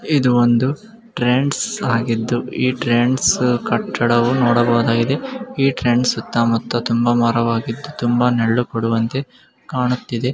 ಇದು ಒಂದು ಟ್ರೆಂಡ್ಸ್ ಆಗಿದ್ದು ಈ ಟ್ರೆಂಡ್ಸ್ ಕಟ್ಟಡವು ನೋಡಬಹುದಾಗಿದೆ ಈ ಟ್ರೆಂಡ್ಸ್ ಸುತ್ತಮುತ್ತ ಬಹಳ ಮರಗಳಾಗಿದ್ದು ಅವು ನೆರಳು ಕೊಡುವಂತೆ ಕಾಣುತ್ತಿದೆ.